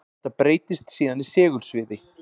Þetta breytist síðan í segulsviði.